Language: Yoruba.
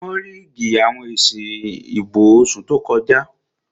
Wọ́n ríìgì àwọn èsì ìbò oṣù tó kọjá